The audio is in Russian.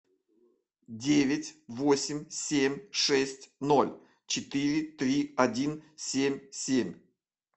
девять восемь семь шесть ноль четыре три один семь семь